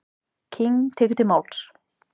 King tekur til máls.